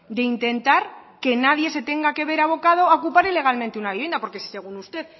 de intentar que nadie se tenga que ver abocados a ocupar ilegalmente una vivienda porque si según usted